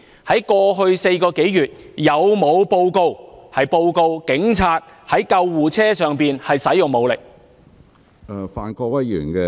在過去4個多月，有否報告表示警察曾在救護車上使用武力？